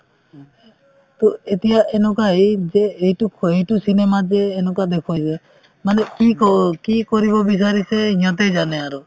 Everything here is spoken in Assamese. to এতিয়া এনেকুৱা এই যে এইটোক ক' এইটো cinema ত যে এনেকুৱা দেখুৱাই যে মানে কি কওঁ কি কৰিব বিচাৰিছে সিহঁতেই জানে আৰু